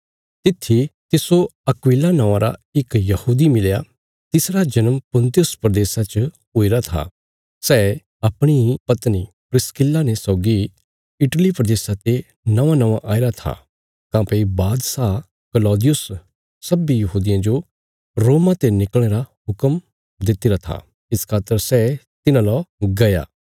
तित्थी तिस्सो अक्विला नौआं रा इक यहूदी मिलया तिसरा जन्म पुन्तुस प्रदेशा च हुईरा था सै अपणी पत्नी प्रिस्किल्ला ने सौगी इटली प्रदेशा ते नौआंनौआं आईरा था काँह्भई बादशाह कलौदियुस सब्बीं यहूदियां जो रोमा ते निकल़णे रा हुक्म दित्तिरा था इस खातर सै तिन्हां ला गया